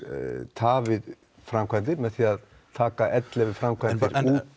tafið framkvæmdir með því að taka ellefu framkvæmdir út